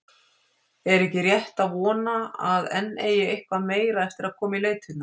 Er ekki rétt að vona, að enn eigi eitthvað meira eftir að koma í leitirnar?